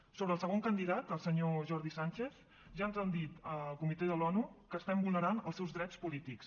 sobre el segon candidat el senyor jordi sànchez ja ens ha dit el comitè de l’onu que estem vulnerant els seus drets polítics